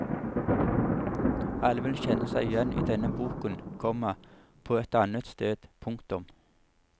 Alle vil kjenne seg igjen idenne boken, komma på et annet sted. punktum